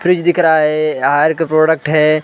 Fridge दिख रहा है हायर का प्रोडक्ट है।